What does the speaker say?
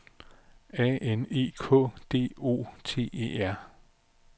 A N E K D O T E R